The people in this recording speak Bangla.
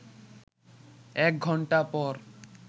এক ঘণ্টা পর